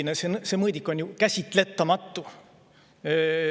–, et selline mõõdik on ju käsitletamatu.